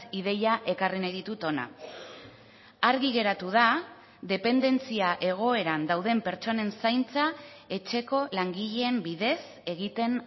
ideia ekarri nahi ditut hona argi geratu da dependentzia egoeran dauden pertsonen zaintza etxeko langileen bidez egiten